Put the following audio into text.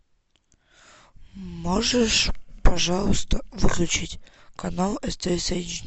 можешь пожалуйста выключить канал стс эйч ди